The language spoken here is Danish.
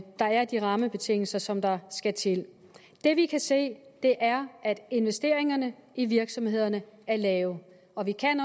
der er de rammebetingelser som der skal til det vi kan se er at investeringerne i virksomhederne er lave og vi kan